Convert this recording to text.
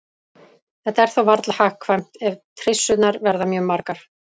Þetta er þó varla hagkvæmt ef trissurnar verða mjög margar.